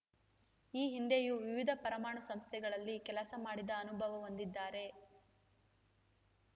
ಈ ಹಿಂದೆಯೂ ವಿವಿಧ ಪರಮಾಣು ಸಂಸ್ಥೆಗಳಲ್ಲಿ ಕೆಲಸ ಮಾಡಿದ ಅನುಭವ ಹೊಂದಿದ್ದಾರೆ